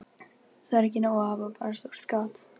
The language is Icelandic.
Það er ekki nóg að hafa bara stórt gat